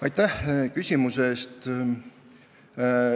Aitäh küsimuse eest!